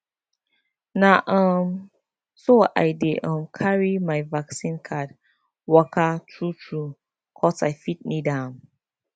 na um so i dey um carry my vaccine card waka true true coz i fit need am